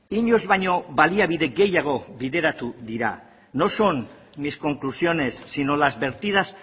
inoiz baino baliabide gehiago bideratu dira no son mis conclusiones sino las vertidas